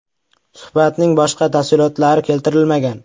Suhbatning boshqa tafsilotlari keltirilmagan.